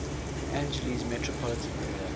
angeles metropolitan area